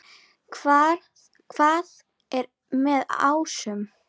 Hvað er með ásum?